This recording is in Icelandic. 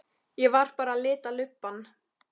Ég var bara að lita lubbann.